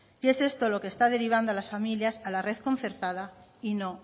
y es esto lo que está derivando a las familias a la red concertada y no